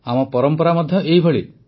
ଆମ ପରମ୍ପରା ମଧ୍ୟ ଏହିଭଳି